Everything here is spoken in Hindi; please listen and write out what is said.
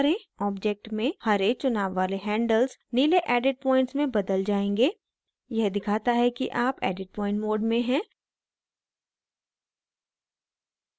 object में हरे चुनाव वाले handles नीले edit points में बदल जायेंगे यह दिखाता है कि आप edit point mode में हैं